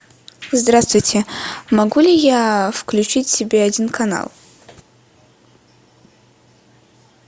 здравствуйте могу ли я включить себе один канал